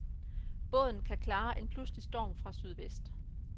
Båden kan klare en pludselig storm fra sydvest.